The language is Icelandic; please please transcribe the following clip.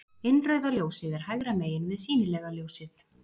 Innrauða ljósið er hægra megin við sýnilega ljósið.